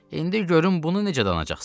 İndi görüm bunu necə danacaqsan?